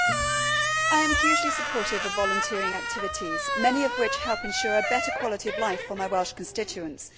Mr President, I am hugely supportive of volunteering activities, many of which help ensure a better quality of life for my Welsh constituents.